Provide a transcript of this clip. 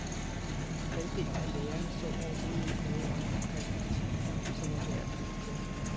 Halvdelen af lærerne så overhovedet ikke noget åndeligt perspektiv i ham, som var værd at bygge på.